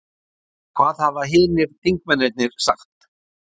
Hvaða hafa hinir þingmennirnir sagt?